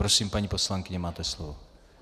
Prosím, paní poslankyně, máte slovo.